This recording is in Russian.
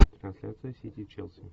трансляция сити челси